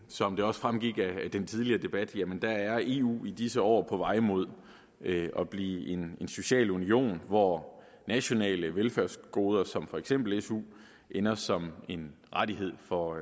som det også fremgik af den tidligere debat er eu i disse år på vej mod at at blive en social union hvor nationale velfærdsgoder som for eksempel su ender som en rettighed for